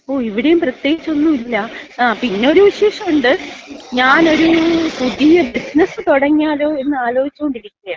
ഓ, ഇവിടെയും പ്രത്യേകിച്ചൊന്നുല്ല. പിന്നെ ഒരു വിശേഷോണ്ട്. ഞാനൊരു പുതിയ ബിസിനസ് തുടങ്ങിയാലോ എന്നാലോചിച്ചോണ്ടിരിക്കയാ.